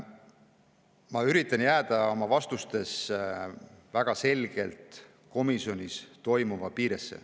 Ma üritan oma vastustes väga selgelt jääda komisjonis toimunu piiresse.